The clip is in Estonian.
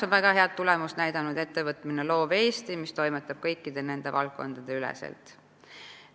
Väga head tulemust on näidanud loomemajanduse arenduskeskus Loov Eesti, mis tegutseb kõikide valdkondade üleselt.